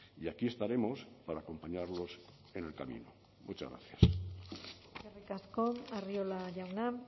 y aquí estaremos para acompañarlos en el camino muchas gracias eskerrik asko arriola jauna